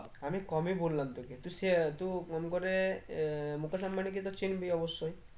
আমি কমই বললাম তোকে তুই সে আহ তুই কম করে আহ মুকেশ আম্বানি কে তো চিনবি অব্যশই